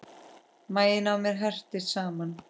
Maginn á mér herpist saman.